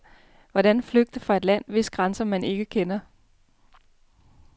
Hvordan flygte fra et land, hvis grænser man ikke kender?